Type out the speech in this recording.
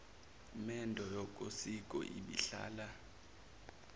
mendo yokosiko ibihlala